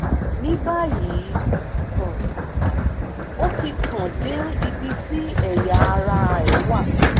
ní báyìí um ó ti tàn dé ibi tí ẹ̀yà ara rẹ̀ wà